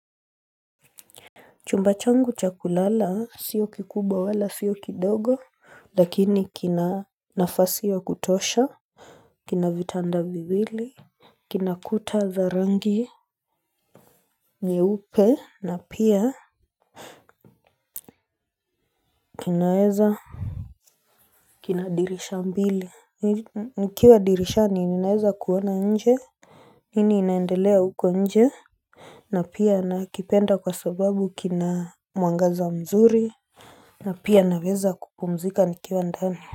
Chumba changu cha kulala sio kikubwa wala sio kidogo Lakini kina nafasi wa kutosha kina vitanda viwili kina kuta za rangi nyeupe na pia kinaweza kina dirisha mbili Nikiwa dirisha ninaweza kuona nje nini inaendelea huko nje na pia nakipenda kwa sababu kina mwangaza mzuri na pia naweza kupumzika nikiwa ndani.